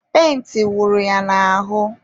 penti wụrụ ya n'ahụ..